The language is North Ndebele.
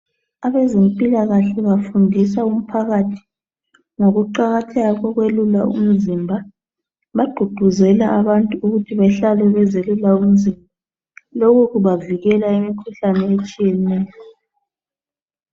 Abezimpilakahle bafundisa umphakathi ngokuqakatheka kokwelula umzimba. Bagqugquzela abantu ukuthi bahlale bezelula imizimba. Lokhu kubavikela imikhuhlane etshiyeneyo.